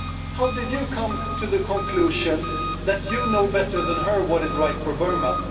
How did you come to the conclusion that you know better than her what is right for Burma?